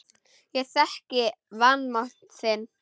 Ég þekki vanmátt þinn.